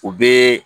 U bɛ